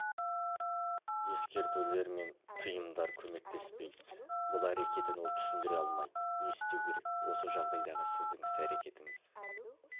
ескертулер мен тиымдар көмектеспейді бұл әрекетін ол түсіндіре алмайды не істеу керек осы жағдайдағы сіздің іс-әрекетіңіз